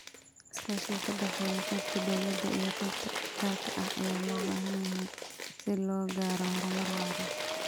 Iskaashiga ka dhexeeya qaybta dawladda iyo qaybta gaarka ah ayaa loo baahan yahay si loo gaaro horumar waara.